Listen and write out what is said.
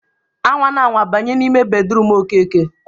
A nwana anwa banye n'ime bedruum Okeke!